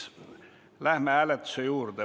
Ei vajata, seega läheme hääletuse juurde.